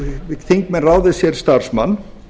geta þingmenn ráðið sér starfsmann